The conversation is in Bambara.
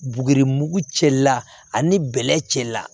Buguri mugu cɛla ani bɛlɛ cɛ la